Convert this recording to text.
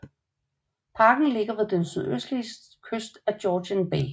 Parken ligger ved den sydøstlige kyst af Georgian Bay